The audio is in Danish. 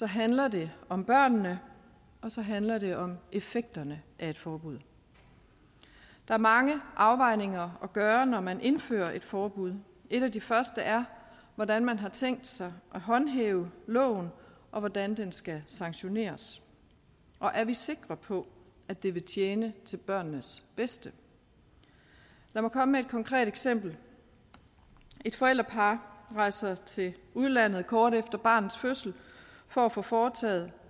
handler det om børnene og så handler det om effekterne af et forbud der er mange afvejninger at gøre når man indfører et forbud en af de første er hvordan man har tænkt sig at håndhæve loven og hvordan den skal sanktioneres og er vi sikre på at det vil tjene til børnenes bedste lad mig komme med et konkret eksempel et forældrepar rejser til udlandet kort efter barnets fødsel for at få foretaget